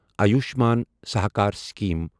Ayushman Sahakar scheme